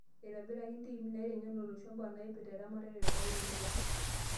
Eitobiraki ntiimi naiteng'en olosho mbaa naipirta eramatare oo lotorok